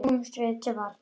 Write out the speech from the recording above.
Snúumst því til varnar!